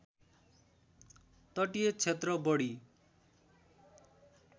तटीय क्षेत्र बढी